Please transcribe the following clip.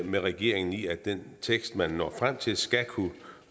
med regeringen i at den tekst man når frem til skal kunne